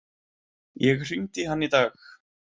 Ég hringdi í hann í dag.